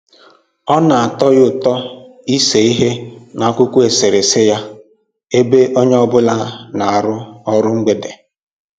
Ọ na-atọ ya ụtọ ịse ihe n'akwụkwọ eserese ya ebe onye ọ bụla na-arụ ọrụ mgbede